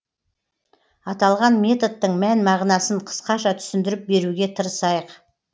аталған методтың мән мағынасын қысқаша түсіндіріп беруге тырысайық